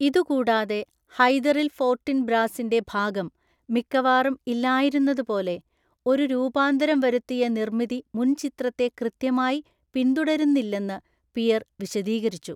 ഇതുകൂടാതെ, ഹൈദറിൽ ഫോർട്ടിൻബ്രാസിൻ്റെ ഭാഗം മിക്കവാറും ഇല്ലായിരുന്നതുപോലെ, ഒരു രൂപാന്തരം വരുത്തിയ നിർമ്മിതി മുൻചിത്രത്തെ കൃത്യമായി പിന്തുടരുന്നില്ലെന്ന് പിയർ വിശദീകരിച്ചു.